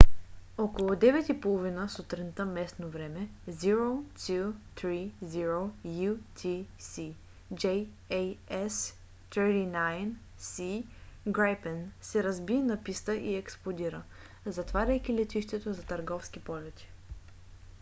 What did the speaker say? около 9:30 сутринта местно време 0230 utc jas 39c gripen се разби на писта и експлодира затваряйки летището за търговски полети